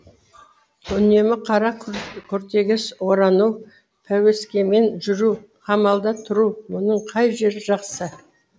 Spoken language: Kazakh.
үнемі қара күртеге орану пәуескемен жүру қамалда тұру мұның қай жері жақсы